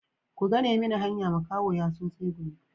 Ku gane mini hanya makaho ya so tsegumi.